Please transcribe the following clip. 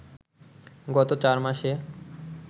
গত চার মাসে